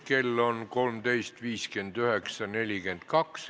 Kell on 13.59.42.